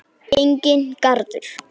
Enginn garður.